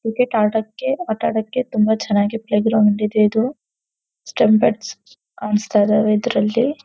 Cricket ಆಟಕ್ಕೆ ಆಟಡಕ್ಕೆ ತುಂಬಾ ಚೆನ್ನಾಗಿ ಪ್ಲೇ ಗ್ರೌಂಡ್ ಇದೆ ಇದು ಸ್ಟಂಪ್ ಬೆಡ್ಸ್ ಕಾಣಸ್ತಾಯ್ದವೆ ಇದರಲ್ಲಿ.